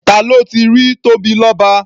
Ta ló ti rí Tóbilọ́ba?